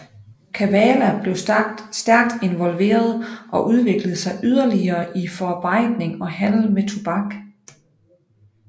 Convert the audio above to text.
Kavala blev stærkt involveret og udviklede sig yderligere i forarbejdning og handel med tobak